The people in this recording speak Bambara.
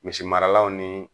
Misi maralaw ni